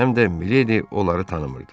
Həm də Miledi onları tanımırdı.